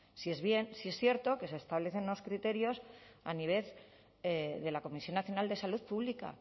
sí es cierto que se establecen unos criterios a nivel de la comisión nacional de salud pública